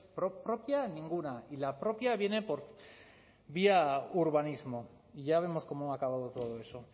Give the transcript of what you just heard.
propia ninguna y la propia viene por vía urbanismo y ya vemos cómo ha acabado todo eso